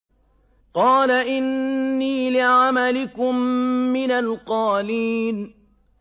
قَالَ إِنِّي لِعَمَلِكُم مِّنَ الْقَالِينَ